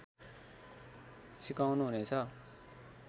सिकाउनु हुनेछ